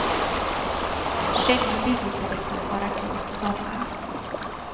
Själva bygget beräknas vara klart i sommar.